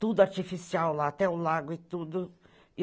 Tudo artificial lá, até o lago e tudo.